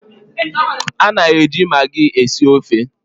A na-eji maagi esi ofe.